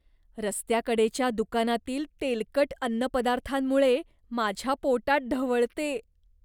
रस्त्याकडेच्या दुकानातील तेलकट अन्नपदार्थांमुळे माझ्या पोटात ढवळते.